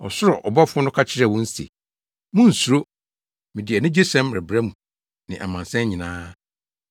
Ɔsoro ɔbɔfo no ka kyerɛɛ wɔn se, “Munnsuro, mede anigyesɛm rebrɛ mo ne amansan nyinaa.